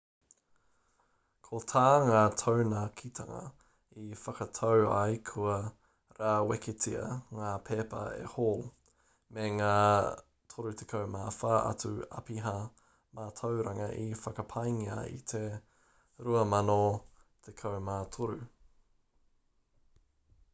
ko tā ngā taunakitanga i whakatau ai kua rāweketia ngā pepa e hall me ngā 34 atu apiha mātauranga i whakapaengia i te 2013